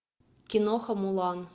киноха мулан